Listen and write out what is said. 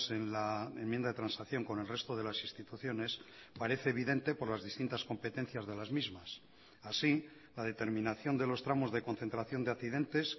en la enmienda de transacción con el resto de las instituciones parece evidente por las distintas competencias de las mismas así la determinación de los tramos de concentración de accidentes